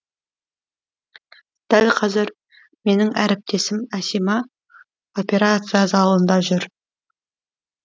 дәл қазір менің әріптесім әсима операция залында жүр